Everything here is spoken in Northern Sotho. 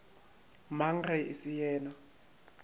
mang ge e se yena